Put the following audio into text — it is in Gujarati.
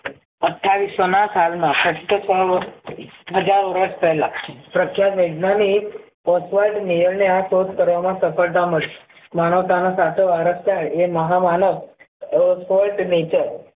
અઠ્ઠાવીસસો ના સાલમાં સત્તર સાલ હજાર વર્ષ પહેલા પ્રખ્યાત વૈજ્ઞાનિક ને આ શોધ કરવા માં સફળતા મળી માનવતા નો સાચો વારસદાર એ મહા માનવ